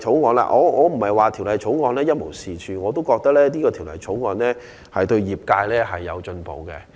我並非認為《條例草案》一無是處，而是我也覺得這項《條例草案》對業界是有進步的。